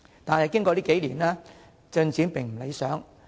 但是，經過數年，政策進展並不理想。